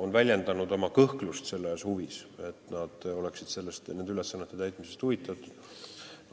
on väljendanud oma kõhklust, et nad oleksid huvitatud niisuguste ülesannete täitmisest, niisugustest koja halduslikest sisemistest küsimustest nagu eksamite vastuvõtmine ja ka distsiplinaarjärelevalve menetlused.